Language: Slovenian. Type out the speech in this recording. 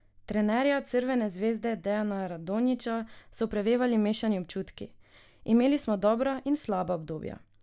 Trenerja Crvene zvezde Dejana Radonjića so prevevali mešani občutki: "Imeli smo dobra in slaba obdobja.